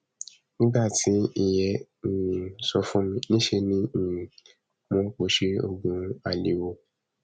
nígbà tí ìyẹn um sọ fún mi níṣẹ ni um mo pọsẹ oògùn alẹ wo